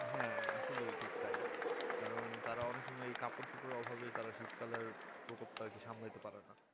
হ্যাঁ আসলে ঠিক তাই কারণ তারা অনেক সময় কাপড় চোপড়ের অভাবে শীতকালে প্রকোপটা আর কি সামলাতে পারেনা